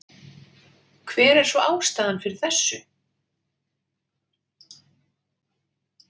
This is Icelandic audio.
Hver er svo ástæðan fyrir þessu?